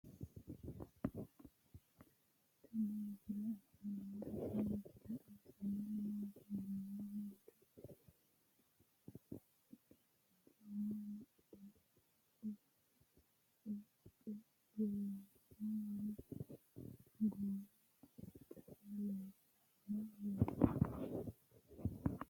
tenne misile aana noorina tini misile xawissannori maati yinummoro manchu geerichchoho macca uraaqqe biliqenno wodhe goowi ale calla leellanno yaatte